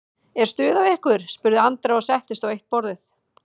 Er stuð á ykkur? spurði Andrea og settist á eitt borðið.